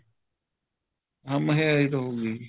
ਹਾਂ ਮਹਿੰਗਾਈ ਤਾਂ ਹੋਗੀ ਜੀ